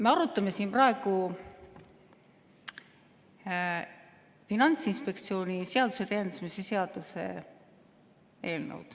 Me arutame siin praegu Finantsinspektsiooni seaduse täiendamise seaduse eelnõu.